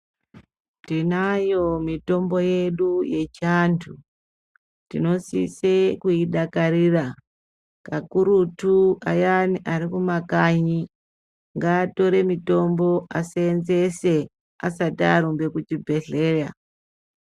Tinayo mitombo yedu yechiantu. Tinosise kuidakarira kakurutu kanyari arikumakanyi, ngaatore mitombo aseenzese asati arumbe kuchibhedhlera.